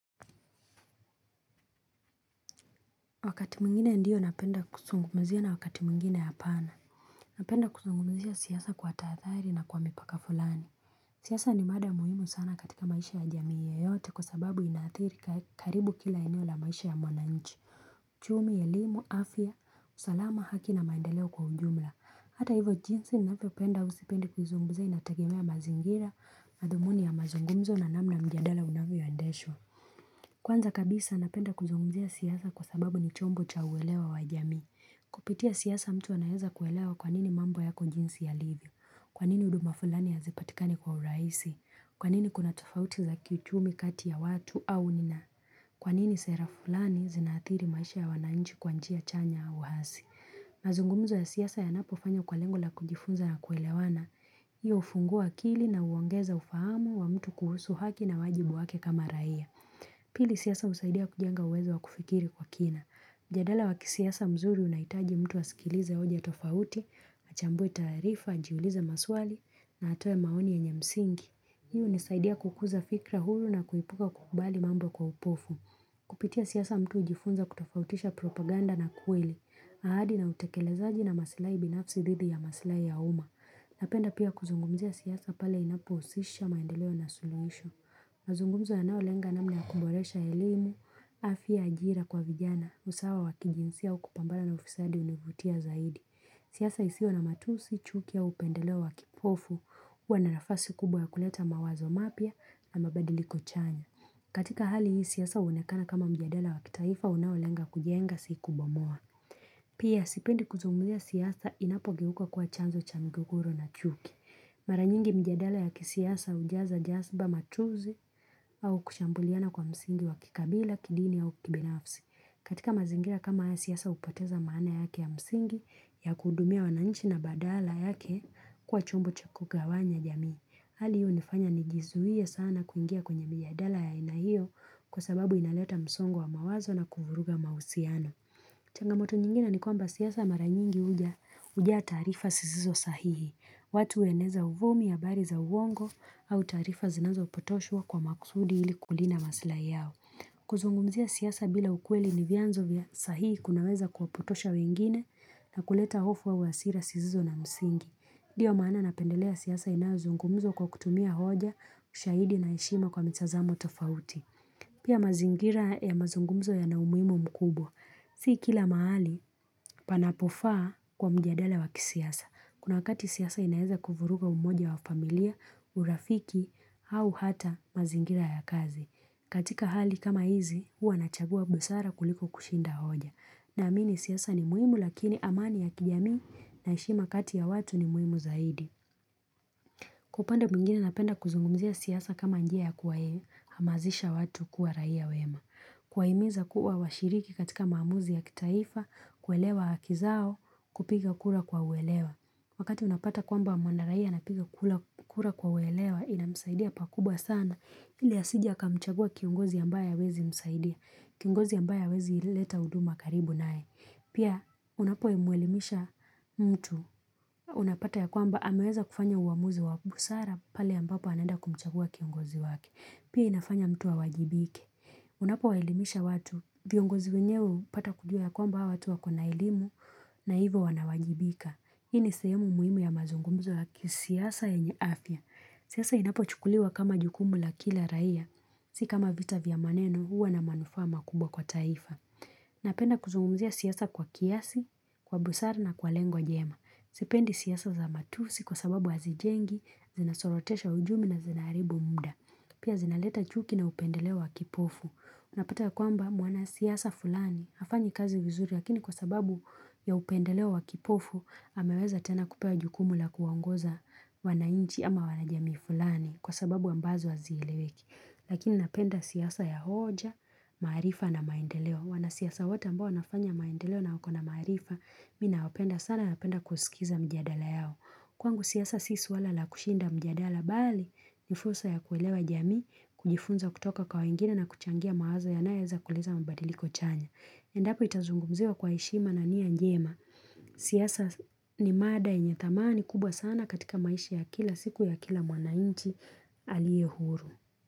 Wakati mwingine ndio napenda kuzungumizia na wakati mwingine hapana napenda kuzungumzia siasa kwa tahathari na kwa mipaka fulani siasa ni mada muhimu sana katika maisha ya jamiii yeyote kwa sababu inaathiri karibu kila eneo la maisha ya mwananchi uchumi elimu afya usalama haki na maendeleo kwa ujumla hata hivyo jinsi ninavyopenda au sipendi kuzungumzia inategemea mazingira madhumuni ya mazungumzo na namna mjandala unavyoendeshwa. Kwanza kabisa napenda kuzungumzia siasa kwa sababu ni chombo cha uelewa wa jamii. Kupitia siasa mtu anaweza kuelewa kwanini mambo yako jinsi yalivyo. Kwanini huduma fulani hazipatikani kwa urahisi. Kwanini kuna tofauti za kiuchumi kati ya watu au nina. Kwanini sera fulani zinaathiri maisha ya wananchi kwa njia chanya au wasi. Mazungumzo ya siasa yanapofanywa kwa lengo la kujifunza na kuelewana. Hiyo hufungua akili na huongeza ufahamu wa mtu kuhusu haki na wajibu wake kama raia. Pili siasa husaidia kujenga uwezo wa kufikiri kwa kina. Mjadala wakisiasa mzuri unahitaji mtu asikilize hoja tofauti, achambwue taarifa, ajiulize maswali, na atoe maoni yenye msingi. Hii hunisaidia kukuza fikira huru na kuepuka kukubali mambo kwa upofu. Kupitia siasa mtu hujifunza kutofautisha propaganda na kweli. Ahadi na utekelezaji na masilahi binafsi dhidi ya masilahi ya uma. Napenda pia kuzungumizia siasa pale inapohusisha maendeleo na suluhisho. Mazungumzo yanayolenga namna ya kuboresha elimu, afya ajira kwa vijana, usawa wakijinsia au kupambana na ufisadi hunivutia zaidi. Siasa isiyo na matusi, chuki au upendeleo wakipofu, huwa na nafasi kubwa ya kuleta mawazo mapya na mabadiliko chanya. Katika hali hii, siasa huonekana kama mjadala wakitaifa, unaolenga kujenga si kubomoa. Pia, sipendi kuzungumzia siasa inapogeuka kuwa chanzo cha mgogoro na chuki. Mara nyingi mijadala ya kisiasa hujaza jasiba matusi au kushambuliana kwa msingi wa kikabila, kidini au kibinafsi. Katika mazingira kama haya siasa hupoteza maana yake ya msingi ya kuhudumia wananchi na badala yake kuwa chombo chukugawanya jamii. Hali hiyo hunifanya nijizuie sana kuingia kwenye mijadala ya aina hiyo kwa sababu inaleta msongo wa mawazo na kuvuruga mauhusiano. Changamoto nyingine ni kwamba siasa mara nyingi hujaa taarifa sizizo sahihi. Watu hueneza uvumi habari za uongo au taarifa zinazopotoshwa kwa makusudi ili kulinda masilahi yao. Kuzungumzia siasa bila ukweli ni vyanzo vya sahihi kunaweza kuwapotosha wengine na kuleta hofu au hasira zisizo na msingi. Ndio maana napendelea siyasa inayozungumzwa kwa kutumia hoja ushahidi na heshima kwa mitazamo tofauti. Pia mazingira ya mazungumzo yana umuhimu mkubwa. Si kila mahali panapofaa kwa mjadala wakisiasa. Kuna wakati siasa inaweza kuvuruga umoja wa familia, urafiki, au hata mazingira ya kazi. Katika hali kama hizi, huwa nachagua busara kuliko kushinda hoja. Na amini siasa ni muhimu lakini amani ya kijamii na heshima kati ya watu ni muhimu zaidi. Kwa upande mwingine napenda kuzungumzia siasa kama njia ya kuwahamazisha watu kuwa raia wema. Kuwahimiza kuwa washiriki katika maamuzi ya kitaifa, kuelewa haki zao, kupiga kura kwa uelewa. Wakati unapata kwamba mwanaraia anapiga kura kwa uelewa inamsaidia pakubwa sana. Ili asije akamchagua kiongozi ambaye hawezi msaidia. Kiongozi ambaye hawezi ileta huduma karibu naye. Pia unapomuelimisha mtu unapata ya kwamba ameweza kufanya uamuzi wa busara pale ambapo anaenda kumchagua kiongozi wake. Pia inafanya mtu awajibike. Unapo waelimisha watu viongozi wenyewe hupata kujua ya kwamba hawa watu wako na elimu na hivyo wanawajibika. Hii ni sehemu muhimu ya mazungumzo ya kisiasa yenye afya. Siasa inapochukuliwa kama jukumu la kila raia. Si kama vita vya maneno huwa na manufaa makubwa kwa taifa. Napenda kuzungumzia siasa kwa kiasi, kwa busara na kwa lengo jema. Sipendi siasa za matusi kwa sababu hazijengi, zinasorotesha uchumi na zinaharibu muda. Pia zinaleta chuki na upendeleo wa kipofu. Unapata ya kwamba mwana siasa fulani hafanyi kazi vizuri. Lakini kwa sababu ya upendeleo wa kipofu, ameweza tena kupewa jukumu la kuwaongoza wananchi ama wanajamii fulani kwa sababu ambazo wazieleweki. Lakini napenda siasa ya hoja, maarifa na maendeleo. Wanasiasa wote ambao wanafanya maendeleo na wako na maarifa mimi nawapenda sana na napenda kusikiza mijadala yao kwangu siasa si suwala la kushinda mjadala bali ni fursa ya kuelewa jamii, kujifunza kutoka kwa wegine na kuchangia mawazo yanayoweza kuleta mabadiliko chanya endapo itazungumziwa kwa heshima na nia njema siasa ni mada yenye dhamani kubwa sana katika maisha ya kila siku ya kila mwananchi aliye huru.